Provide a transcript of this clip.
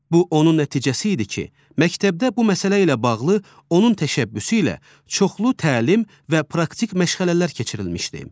Bu onun nəticəsi idi ki, məktəbdə bu məsələ ilə bağlı onun təşəbbüsü ilə çoxlu təlim və praktik məşğələlər keçirilmişdi.